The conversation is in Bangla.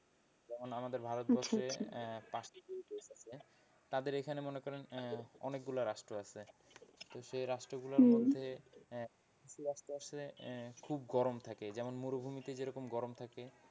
যেমন আমাদের ভারতবর্ষ আহ তাদের এখানে মনে করেন আহ অনেকগুলা রাষ্ট্র আছে, সেই রাষ্ট্র গুলোর মধ্যে কিছু রাষ্ট্র আছে আহ খুব গরম থাকে যেমন মরুভূমিতে যেরকম গরম থাকে।